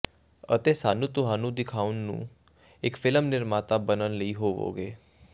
ਅਤੇ ਸਾਨੂੰ ਤੁਹਾਨੂੰ ਦਿਖਾਉਣ ਨੂੰ ਇੱਕ ਫਿਲਮ ਨਿਰਮਾਤਾ ਬਣਨ ਲਈ ਹੋਵੋਗੇ